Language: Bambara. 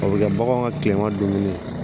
A bɛ kɛ bagan ka tilema dun